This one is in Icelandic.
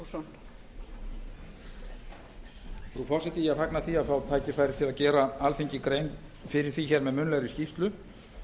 frú forseti ég fagna því að fá tækifæri til að gera alþingi grein fyrir því með munnlegri skýrslu